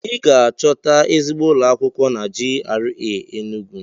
I ga-achọta ezigbo ụlọ akwụkwọ na GRA Enugwu.